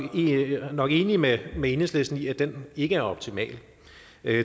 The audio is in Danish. nok enige med med enhedslisten i at den ikke er optimal